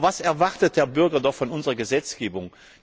Aber was erwartet der Bürger von unserer Gesetzgebung?